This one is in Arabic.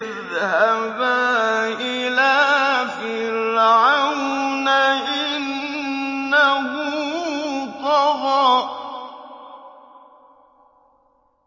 اذْهَبَا إِلَىٰ فِرْعَوْنَ إِنَّهُ طَغَىٰ